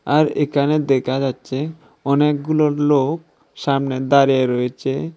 আর একানে দেকা যাচ্ছে অনেকগুলো লোক সামনে দাঁড়িয়ে রয়েচে ।